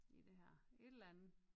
I det her et eller andet